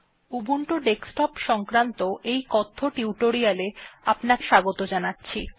Ubuntu desktop সংক্রান্ত এই কথ্য টিউটোরিয়াল এ আপনাকে স্বাগত জানাচ্ছি